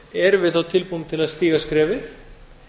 erum við þá tilbúin til að stíga skrefið